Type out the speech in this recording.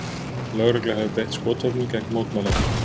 Lögregla hefur beitt skotvopnum gegn mótmælendum